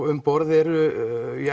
um borð eru